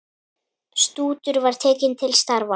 Stútur var tekið til starfa!